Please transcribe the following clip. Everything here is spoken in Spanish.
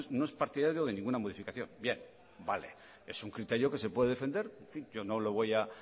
no es partidario de ninguna modificación bien vale es un criterio que se puede defender en fin yo no le voy a